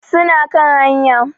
Suna kan haya.